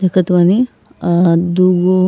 देखत बानी। आ दूगो --